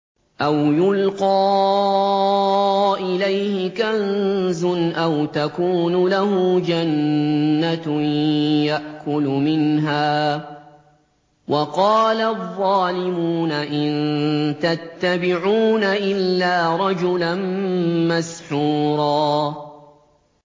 أَوْ يُلْقَىٰ إِلَيْهِ كَنزٌ أَوْ تَكُونُ لَهُ جَنَّةٌ يَأْكُلُ مِنْهَا ۚ وَقَالَ الظَّالِمُونَ إِن تَتَّبِعُونَ إِلَّا رَجُلًا مَّسْحُورًا